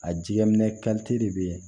A jɛgɛ minɛ de bɛ yen